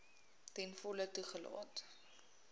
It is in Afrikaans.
ten volle toegelaat